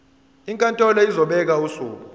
inkantolo izobeka usuku